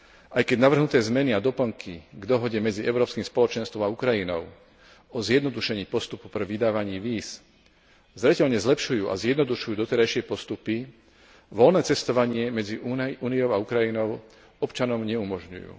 Aj keď navrhnuté zmeny k dohode medzi Európskym spoločenstvom a Ukrajinou o zjednodušení postupu pre vydávanie víz zreteľne zlepšujú a zjednodušujú doterajšie postupy, voľné cestovanie medzi Úniou a Ukrajinou občanom neumožňujú.